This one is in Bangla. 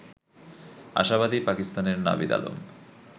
আশাবাদী পাকিস্তানের নাভিদ আলম